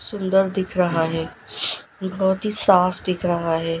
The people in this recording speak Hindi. सुंदर दिख रहा है बहुत ही साफ दिख रहा है।